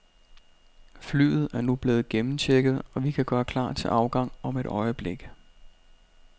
Flyet er nu blevet gennemchecket, og vi kan gøre klar til afgang om et øjeblik.